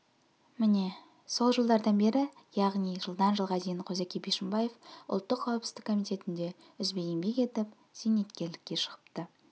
міне сол жылдардан бері яғни жылдан жылға дейін қозыке бишімбаев ұлттық қауіпсіздік комитетінде үзбей еңбек етіп зейнеткерлікке шығыпты